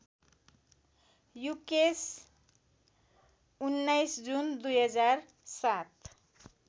Yukesh १९ June २००७